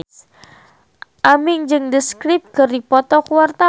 Aming jeung The Script keur dipoto ku wartawan